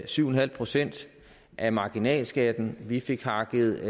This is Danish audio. syv en halv procent af marginalskatten vi fik hakket